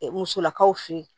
Musolakaw fɛ yen